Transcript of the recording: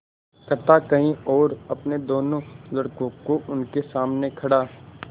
कथा कही और अपने दोनों लड़कों को उनके सामने खड़ा